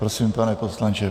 Prosím, pane poslanče.